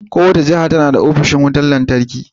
Kowace jiha tana da ofishin wutar lantarki.